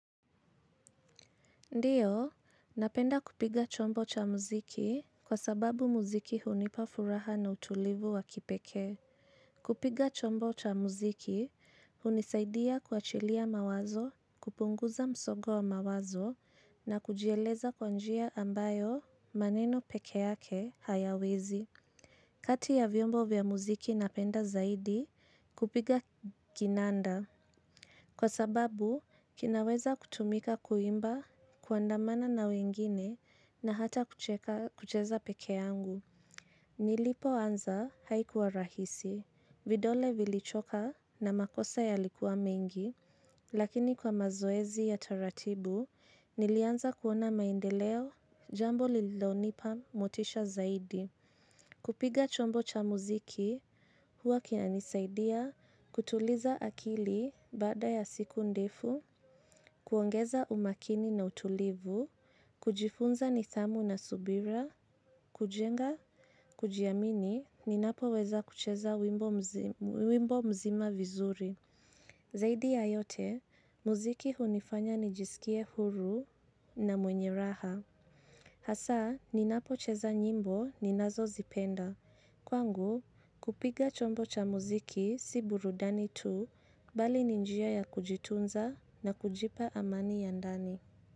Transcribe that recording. Ndiyo, napenda kupiga chombo cha muziki kwa sababu muziki hunipa furaha na utulivu wa kipekee. Kupiga chombo cha muziki, hunisaidia kuachilia mawazo, kupunguza msongo wa mawazo na kujieleza kwa njia ambayo maneno pekeyake hayawezi. Kati ya vyombo vya muziki napenda zaidi kupiga kinanda. Kwa sababu, kinaweza kutumika kuimba kuandamana na wengine na hata kucheza pekeangu. Nilipo anza haikuwa rahisi, vidole vilichoka na makosa yalikuwa mengi, lakini kwa mazoezi ya taratibu, nilianza kuona maendeleo jambo lilonipa motisha zaidi. Kupiga chombo cha muziki, huwa kinanisaidia, kutuliza akili baada ya siku ndefu, kuongeza umakini na utulivu, kujifunza nithamu na subira, kujenga, kujiamini, ninapoweza kucheza wimbo mzima vizuri. Zaidi ya yote, muziki hunifanya nijisikie huru na mwenye raha. Hasaa, ninapocheza nyimbo ninazozipenda. Kwangu, kupiga chombo cha muziki si burudani tu bali ni njia ya kujitunza na kujipa amani ya ndani.